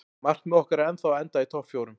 Markmið okkar er ennþá að enda í topp fjórum.